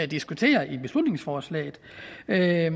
diskuterer i beslutningsforslaget jeg